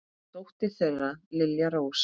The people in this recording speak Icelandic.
Dóttir þeirra er Lilja Rós.